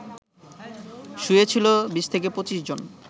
শুয়ে ছিলো ২০-২৫ জন